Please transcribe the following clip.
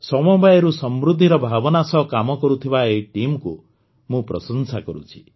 ସମବାୟରୁ ସମୃଦ୍ଧିର ଭାବନା ସହ କାମ କରୁଥିବା ଏହି ଟିମ୍କୁ ମୁଁ ପ୍ରଶଂସା କରୁଛି